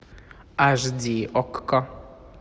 аш ди окко